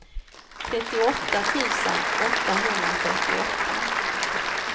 trettioåtta tusen åttahundrafyrtioåtta